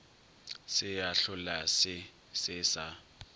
se a hlolase se sa